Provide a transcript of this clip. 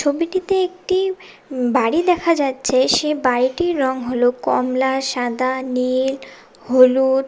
ছবিটিতে একটি বাড়ি দেখা যাচ্ছে সে বাড়িটির রং হল কমলা সাদা নীল হলুদ।